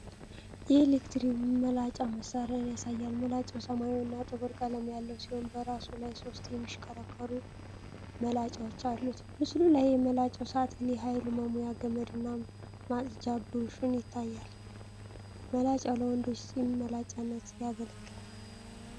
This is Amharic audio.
የኤሌክትሪክ መላጫ መሣሪያን ያሳያል። መላጫው ሰማያዊና ጥቁር ቀለም ያለው ሲሆን በራሱ ላይ ሦስት የሚሽከረከሩ መላጫዎች አሉት። በምስሉ ላይ የመላጫው ሳጥን፣ የኃይል መሙያ ገመድና ማጽጃ ብሩሽም ይታያሉ። መላጫው ለወንዶች ጺም መላጫነት ያገለግላል።